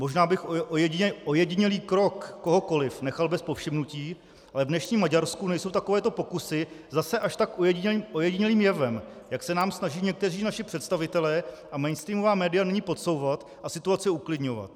Možná bych ojedinělý krok kohokoliv nechal bez povšimnutí, ale v dnešním Maďarsku nejsou takovéto pokusy zase až tak ojedinělým jevem, jak se nám snaží někteří naši představitelé a mainstreamová média nyní podsouvat a situaci uklidňovat.